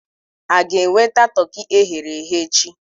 A ga-enweta toki e ghere eghe echi?